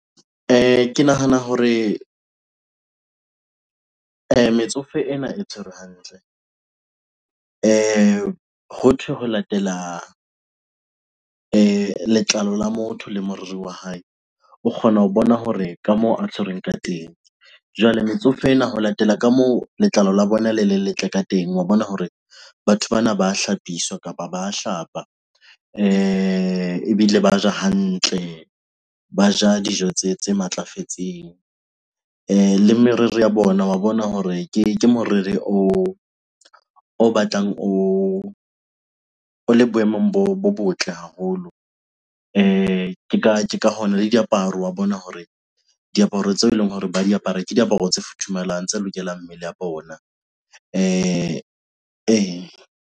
Ke nahana hore metsofe ena e tshwerwe hantle. Hothwe ho latela letlalo la motho le moriri wa hae, o kgona ho bona hore ka moo a tshwerweng ka teng. Jwale metsofe ena ho latela ka moo letlalo la bona le le letle ka teng wa bona hore batho bana ba hlapiswa kapa ba hlapa, ebile ba ja hantle, ba ja dijo tse matlafetseng. Le meriri ya bona wa bona hore ke moriri o batlang o le boemong bo botle haholo. Ke ka hona le diaparo wa bona hore diaparo tseo eleng hore ba di apara ke diaparo tse futhumalang, tse lokelang mmele ya bona ee.